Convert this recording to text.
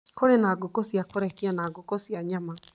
Kũrĩ na ngũkũ cia kũrekia na ngũkũ cia nyama.